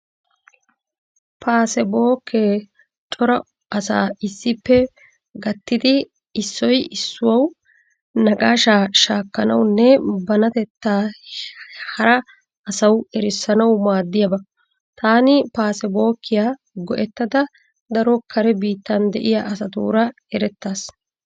Paasebookee cora asaa issippe gattidi issoy issuwaawu naqaashaa shaakkanawunne banatettaa hara asawu erissanwu maaddiyaaba. Taani paasebookiyaa go'ettada daro kare biittan de'iyaa asatuura erettaas.